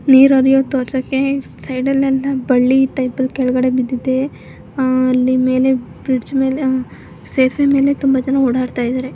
ನೀರು ನೀರ್ ತೋರ್ಸೈತೆ ಸೈಡ್ ಅಲ್ಲೆಲ್ಲ ಬಳ್ಳಿ ಇದ್ದಂಗೆ ಕೆಳಗಡೆ ಬಿದ್ದೈತೆ. ಆ ಅಲ್ಲಿ ಮೇಲೆ ಬ್ರಿಡ್ಜ್ ಮೇಲೆ ಸೇತುವೆ ಮೇಲೆ ತುಂಬಾ ಜನ ಓಡಾಡ್ತಾ ಇದಾರೆ.